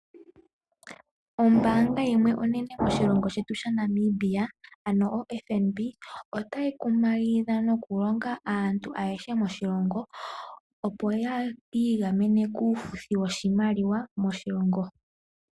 Ombaanga yimwe onene moshilongo shetu Namibia, ano oFNB, otayi kumagidha nokulonga aantu ayehe moshilongo opo yi igamene kuufuthi woshimaliwa moshilongo.